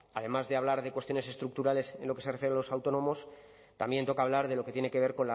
además de hablar de cuestiones estructurales en lo que se refiere a los autónomos también toca hablar de lo que tiene que ver